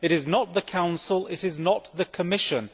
It is not the Council, it is not the Commission.